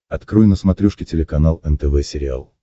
открой на смотрешке телеканал нтв сериал